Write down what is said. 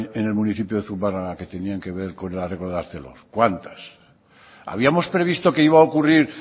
en el municipio de zumárraga que tenían que ver con el arreglo de arcelor cuántas habíamos previsto que iba a ocurrir